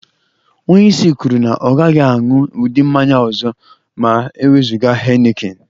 Onye isi m kwuru na ya agaghị aṅụ ụdị mmanya ọ ọzọ ma e wezụga Henekin.